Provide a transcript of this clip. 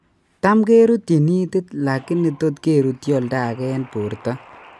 Tamkerutyin itit lagini tot kerutyi oldaage eng' borto